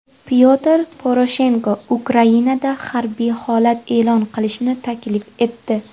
Pyotr Poroshenko Ukrainada harbiy holat e’lon qilishni taklif etdi.